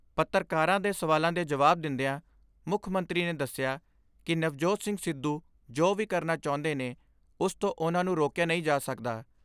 ਪੱਤਰਕਾਰਾਂ ਦੇ ਸਵਾਲਾਂ ਦੇ ਜਵਾਬ ਦਿੰਦਿਆਂ ਮੁੱਖ ਮੰਤਰੀ ਨੇ ਦਸਿਆ ਕਿ ਨਵਜੋਤ ਸਿੰਘ ਸਿੱਧੂ ਜੋ ਵੀ ਕਰਨਾ ਚਾਹੁੰਦੇ ਨੇ ਉਸ ਤੋਂ ਉਨ੍ਹਾਂ ਨੂੰ ਰੋਕਿਆ ਨਹੀਂ ਜਾ ਸਕਦਾ।